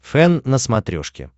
фэн на смотрешке